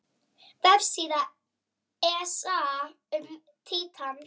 Vefsíða ESA um Títan.